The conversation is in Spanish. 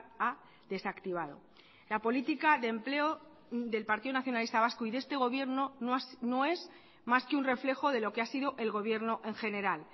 ha desactivado la política de empleo del partido nacionalista vasco y de este gobierno no es más que un reflejo de lo que ha sido el gobierno en general